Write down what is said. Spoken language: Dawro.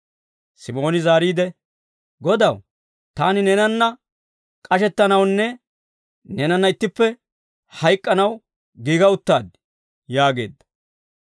Simooni zaariide, «Godaw, taani neenanna k'ashettanawunne neenanna ittippe hayk'k'anaw giiga uttaad» yaageedda.